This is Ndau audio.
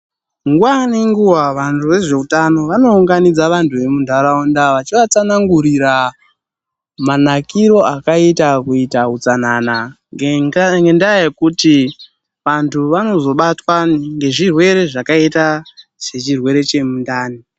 Nguwa nenguwa vantu vezveutano vanounganidza vanhu vemunharaunda vachivatsanangurira manakiro akaita kuita utsanana ngendaa yekuti vantu vanozobatwa ngezvirwere zvakaita sechirwere chemundani.